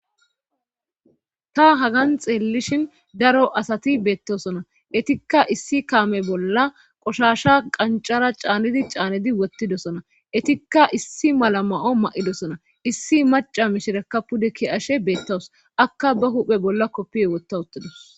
ta hagan xeellishin daro asati beettosona etikka issi kaame bolla qoshasha qancara caanidi caanidi wottidosona etikka issi mala ma7o ma7idosona issi maca mishirekka pude ki ashe beettawus akka ba huphe bolla koppio wotta uttadus